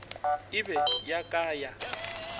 e be ya ka ya